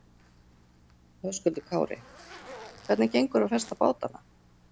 Höskuldur Kári: Hvernig gengur að festa bátana?